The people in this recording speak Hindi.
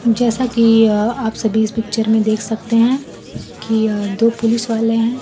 जैसा कि आप सभी इस पिक्चर में देख सकते हैं कि यह दो पुलिस वाले हैं।